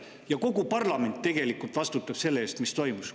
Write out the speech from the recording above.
Ja kogu parlament tegelikult vastutab selle eest, mis toimus.